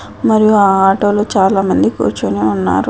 మరియు ఆ ఆటోలో చాలా మంది కూర్చొని ఉన్నారు.